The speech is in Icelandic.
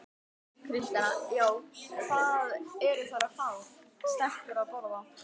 Kristjana: Já, hvað eru þær að fá, stelpur að borða?